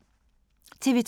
TV 2